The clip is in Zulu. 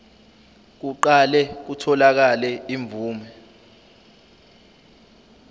kuqale kutholakale imvume